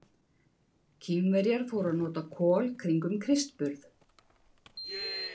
Kínverjar fóru að nota kol kringum Krists burð.